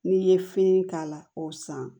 N'i ye fini k'a la o san